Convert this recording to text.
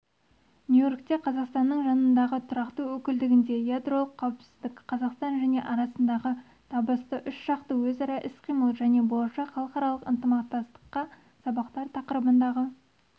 нью-йоркте қазақстанның жанындағы тұрақты өкілдігінде ядролық қауіпсіздік қазақстан және арасындағы табысты үшжақты өзара іс-қимыл және болашақ халықаралық ынтымақтастыққа сабақтар тақырыбындағы